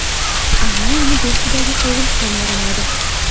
Ammo uni behudaga sovurish ham yaramaydi.